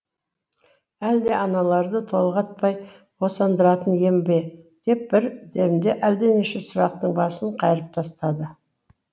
әлде аналарды толғатпай босандыратын ем бе деп бір демде әлденеше сұрақтың басын қайырып тастады